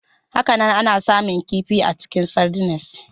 Hakanan, ana samun kifi a cikin sardines.